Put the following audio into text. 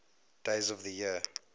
days of the year